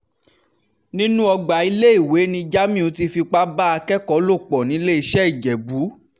nínú ọgbà iléèwé ni jamiu ti fipá bá akẹ́kọ̀ọ́ lò pọ̀ niléeṣẹ́-ìjẹ́bù